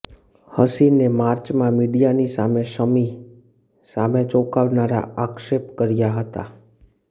હસીને માર્ચમાં મીડિયાની સામે શમી સામે ચોંકાવનારા આક્ષેપ કર્યા હતા